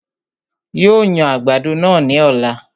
Yóò yan àgbàdo náà ní ọ̀la